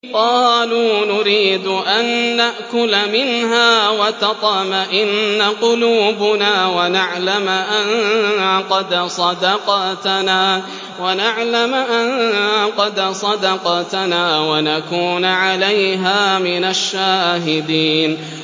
قَالُوا نُرِيدُ أَن نَّأْكُلَ مِنْهَا وَتَطْمَئِنَّ قُلُوبُنَا وَنَعْلَمَ أَن قَدْ صَدَقْتَنَا وَنَكُونَ عَلَيْهَا مِنَ الشَّاهِدِينَ